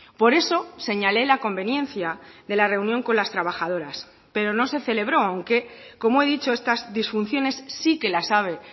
por eso señalé la conveniencia de la reunión con las trabajadoras pero no se celebró aunque como he dicho estas disfunciones sí que las sabe